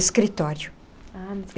Escritório. Ah.